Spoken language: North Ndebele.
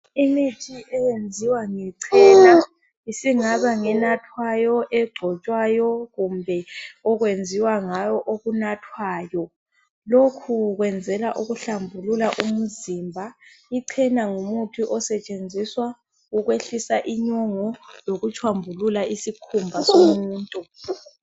Imithi eyenziwa ngechena isingaba ngenathwayo, egcotshwayo, kumbe okwenziwa ngayo okunathwayo, lokhu ukwenzela uhlambulula umzimba, ichena ngumuthi osetshenziswa ukwehlisa inyongo lokutshombulula isikhumba somuntu.